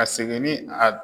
A seginni